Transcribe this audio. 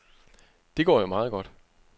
Det går jo meget godt.